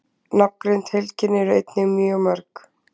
Nafngreind heilkenni eru einnig mjög mörg.